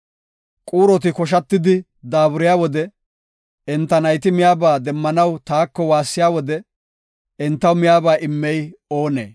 Quuroti koshatidi daaburiya wode, enta nayti miyaba demmanaw taako waassiya wode, entaw miyaba immey oonee?